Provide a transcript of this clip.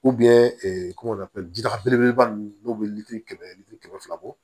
kɔngɔtɔ ji daga belebeleba ninnu n'u bɛ litiri kɛmɛ litiri kɛmɛ fila bɔ